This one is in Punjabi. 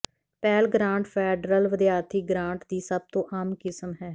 ਪੈਲ ਗਰਾਂਟ ਫੈਡਰਲ ਵਿਦਿਆਰਥੀ ਗ੍ਰਾਂਟ ਦੀ ਸਭ ਤੋਂ ਆਮ ਕਿਸਮ ਹੈ